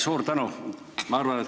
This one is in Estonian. Suur tänu!